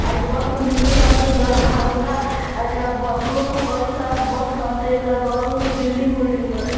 आ इ बस में लिखल बाटे दरभंगा एकरा बगलो में कई सारा बस बाटे एकरा बगल में बिल्डिंग उलडिंग बाटे।